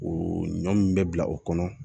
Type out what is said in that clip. O ɲɔ min bɛ bila o kɔnɔ